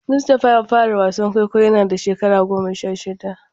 Mustapha ya fara wasan kwaikwayo yana da shekaru goma sha shida.